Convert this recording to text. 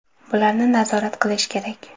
Bularni nazorat qilish kerak.